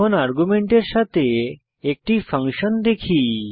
এখন আর্গুমেন্টের সাথে একটি ফাংশন দেখি